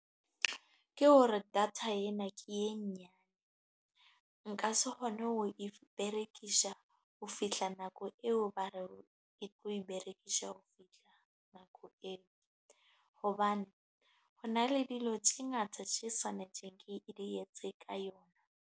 Ke hore data ena ke e nyane. Nka se kgone ho e berekisa ho fihla nako eo, ba re e tlo e berekisa ho fihla nako eo. Hobane, ho na le dilo tse ngata tse tshwanetseng ke di etse ka yona.